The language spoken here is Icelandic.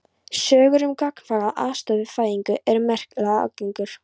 Sögur um gagnkvæma aðstoð við fæðingar eru merkilega algengar.